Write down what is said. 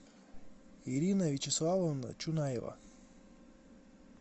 ирина вячеславовна чунаева